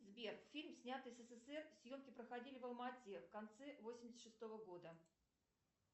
сбер фильм снятый в ссср съемки проходили в алма ате в конце восемьдесят шестого года